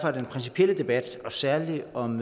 er den principielle debat særlig om